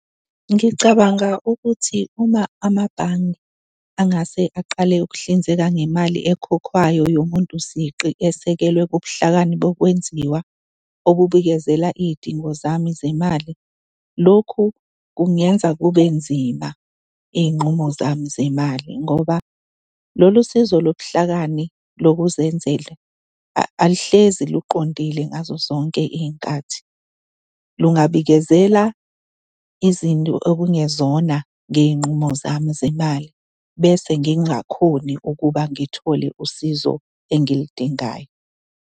Ngicabanga ukuthi uma amabhange angase aqale ukuhlinzeka ngemali ekhokhwayo yomuntu siqu esekelwe kubuhlakani bokwenziwa obubikezela iy'dingo zami zemali, lokhu kungenza kube nzima iy'nqumo zami zemali ngoba lolu sizo lobuhlakani lokuzenzela aluhlezi luqondile ngazozonke iy'nkathi. Lungabikezela izinto okungezona ngey'nqumo zami zemali bese ngingakhoni ukuba ngithole usizo engilidingayo.